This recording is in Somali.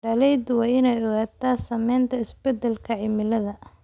Beeralayda waa inay ogaadaan saamaynta isbeddelka cimilada.